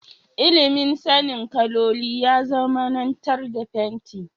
Ilimin sanin kaloli ya zamanantar da fenti.